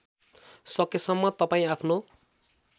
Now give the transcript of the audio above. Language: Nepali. सकेसम्म तपाईँ आफ्नो